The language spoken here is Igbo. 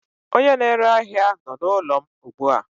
Onye na-ere ahia nọ n'ụlọ m ugbu a.